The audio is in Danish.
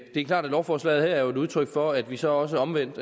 er klart at lovforslaget her er et udtryk for at vi så også omvendt